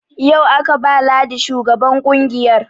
Yau aka ba ladi shugaban ƙungiyar